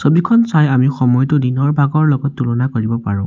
এইখন চাই আমি সময়টো দিনৰ ভাগৰ লগত তুলনা কৰিব পাৰোঁ।